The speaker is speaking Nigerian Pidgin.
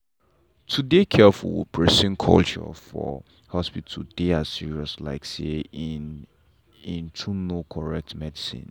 to dey careful with persona culture for hospital dey as serious like say um to know correct medicine.